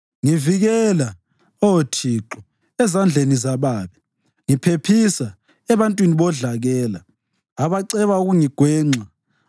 Ngivikela, Oh Thixo, ezandleni zababi; ngiphephisa ebantwini bodlakela abaceba ukungigwenxa.